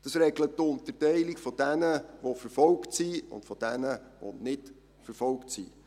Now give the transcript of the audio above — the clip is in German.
Dieses regelt die Unterteilung in diejenigen, die verfolgt sind, und diejenigen, die nicht verfolgt sind.